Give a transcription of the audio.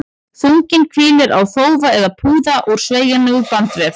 Þunginn hvílir á þófa eða púða úr sveigjanlegum bandvef.